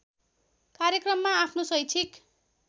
कार्यक्रममा आफ्नो शैक्षिक